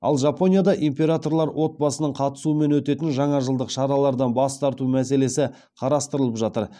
ал жапонияда императорлар отбасының қатысуымен өтетін жаңажылдық шаралардан бас тарту мәселесі қарастырылып жатыр